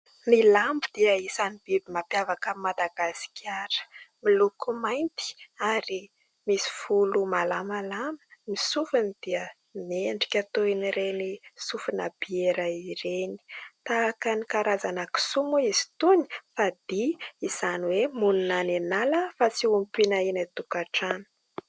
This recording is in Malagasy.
Ny lambo dia isan' ny biby mampiavaka an' i Madagasikara. Miloko mainty ary misy volo malamalama. Ny sofiny dia miendrika toy ireny sofina biera ireny. Tahaka ny karazana kisoa moa izy itony fa dia, izany hoe monina any an' ala fa tsy ompiana eny an- tokantrano.